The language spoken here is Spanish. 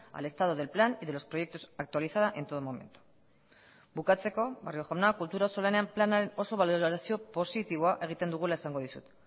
al estado del plan y de los proyectos actualizada en todo momento bukatzeko barrio jauna kultura auzolanean planaren oso balorazio positiboa egiten dugula esango dizut